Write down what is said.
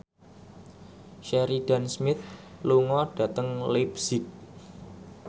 Sheridan Smith lunga dhateng leipzig